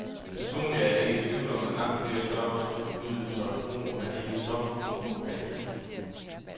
Personligt er jeg ikke i tvivl om, at langt flere stoffer skal forbydes, og at brugen af hele stofgrupper må fases ud.